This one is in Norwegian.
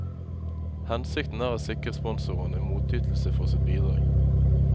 Hensikten er å sikre sponsoren en motytelse for sitt bidrag.